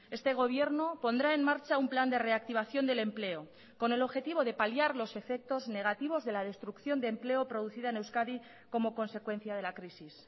este gobierno pondrá en marcha un plan de reactivación del empleo con el objetivo de paliar los efectos negativos de la destrucción de empleo producida en euskadi como consecuencia de la crisis